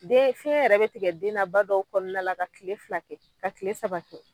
Den fiɲɛ yɛrɛ be tigɛ den na , ba dɔw kɔnɔna la ka kile fila kɛ ka kile saba kɛ.